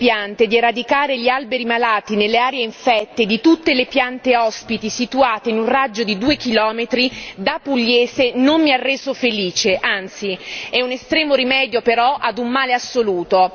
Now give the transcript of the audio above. Signora Presidente, onorevoli colleghi, ieri la decisione presa dal comitato UE per la salute delle piante di eradicare gli alberi malati nelle aree infette di tutte le piante ospiti situate in un raggio di due chilometri, da pugliese non mi ha reso felice, anzi è un estremo rimedio però ad un male assoluto.